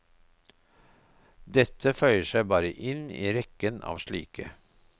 Dette føyer seg bare inn i rekken av slike.